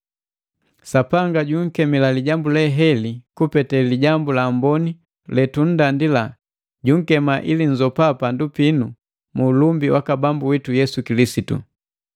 Sapanga junkemila lijambu heli kupete Lijambu la Amboni le tunndandila, junkema ili nzopa pandu pinu mu ulumbi waka Bambu witu Yesu Kilisitu.